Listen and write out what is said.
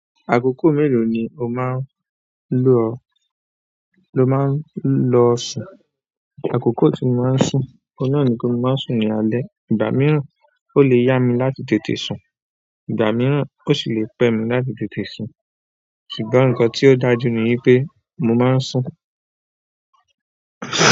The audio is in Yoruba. Àkókò mélòó ni o máa ń lọ sùn? Akoko ti mo maa n sun oun nà nipe mo maa n sun ni alẹ́. Ìgbà mìíràn, ó lè yá mi láti tètè sùn, ìgbà mìíràn ó sì lè pẹ́ mi láti tètè sùn. Ṣùgbọ́n nkan tí ó dájú ní wípé mo máa ń sùn.